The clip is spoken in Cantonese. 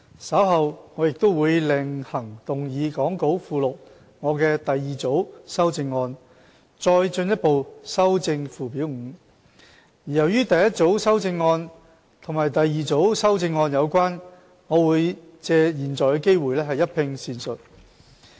稍後我亦會另行動議講稿附錄我的第二組修正案，再進一步修正附表 5， 而由於第一組修正案與第二組修正案有關，我會藉現在的機會一併闡述。